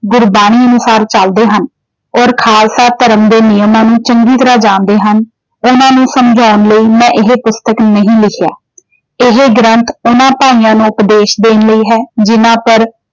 ਗੁਰਬਾਣੀ ਅਨੁਸਾਰ ਚਲਦੇ ਹਨ ਔਰ ਖਾਲਸਾ ਧਰਮ ਦੇ ਨਿਯਮਾਂ ਨੂੰ ਚੰਗੀ ਤਰ੍ਹਾਂ ਜਾਣਦੇ ਹਨ। ਉਹਨਾਂ ਨੂੰ ਸਮਝਉਣ ਲਈ ਮੈਂ ਇਹ ਪੁਸਤਕ ਨਹੀਂ ਲਿਖਿਆ। ਇਹ ਗ੍ਰੰਥ ਉਹਨਾਂ ਭਾਈਆਂ ਨੂੰ ਉਪਦੇਸ਼ ਦੇਣ ਲਈ ਹੈ ਜਿੰਨ੍ਹਾਂ ਪਰ।